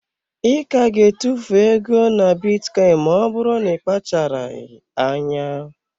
I ka ga-etufu ego na bitcoin, ma ọ bụrụ na ị kpacharaghị anya.